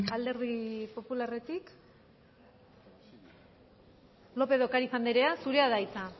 alderdi popularretik lópez de ocariz andrea zurea da hitza